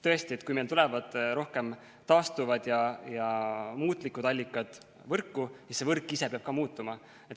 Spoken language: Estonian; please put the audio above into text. Tõesti, kui meil tulevad rohkem taastuvad ja muutlikud allikad võrku, siis see võrk ise peab ka muutuma.